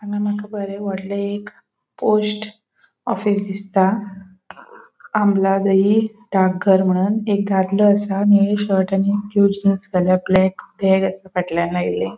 हांगा मका बोरे वोडले एक पोस्ट ऑफिस दिसता मनोन एक दादलों असा निळे शर्ट आणि ड्रेस घाला ब्लॅक बॅग बॅग असा फाटल्यान लायले.